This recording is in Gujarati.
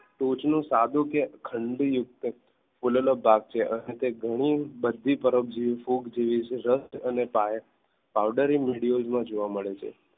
ટોચનું સાધુ કે ખાનદિત યુગ બોલેલો ભાગ છે અહીં તે ઘણી બધી ફરક જેવી ફૂગ છે અને powder media માં જોવા મળે છે.